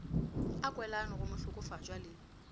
a kwelano go mohlokofatšwa le